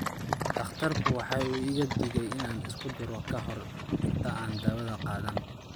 Dhakhtarku waxa uu iiga digay in aan isku duro ka hor inta aan dawada qaadan